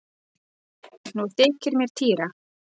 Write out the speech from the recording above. Nú þykir mér týra!